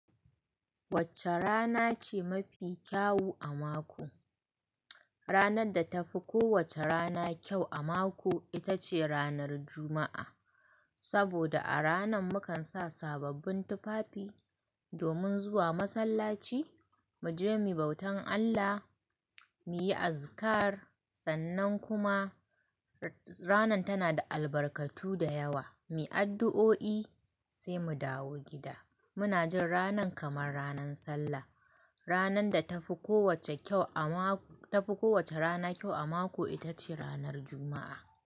Wacce rana ce mafi kyau a mako? Ranar da ta fi kowacce rana kyau a mako ita ce ranar Juma'a. Saboda a ranan mukan sa sababbin tufafi domin zuwa masallaci, mu je mu bautan Allah, mu yi azikar, sannan kuma ranar tana da albarkatu da yawa, mu yi addu'o'i sai mu dawo gida. Muna jin ranan kamar ranan Sallah. Ranar da ta fi kowacce kyau a mako, ta fi kowacce rana kyau a mako ita ce ranar Juma'a.